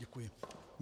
Děkuji.